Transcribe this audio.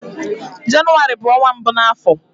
Jenụwarị bụ ọnwa mbụ na afọ